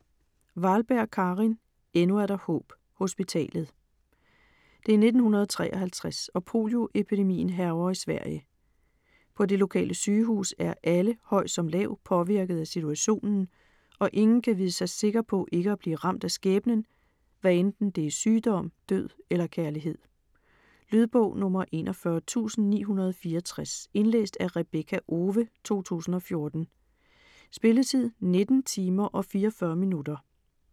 Wahlberg, Karin: Endnu er der håb: hospitalet Det er 1953, og polioepidemien hærger i Sverige. På det lokale sygehus er alle, høj som lav, påvirket af situationen, og ingen kan vide sig sikker på ikke at blive ramt af skæbnen, hvad enten det er sygdom, død eller kærlighed. Lydbog 41964 Indlæst af Rebekka Owe, 2014. Spilletid: 19 timer, 44 minutter.